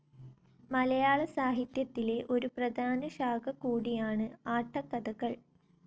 മലയാളസാഹിത്യത്തിലെ ഒരു പ്രധാന ശാഖ കൂടിയാണ് ആട്ടക്കഥകൾ.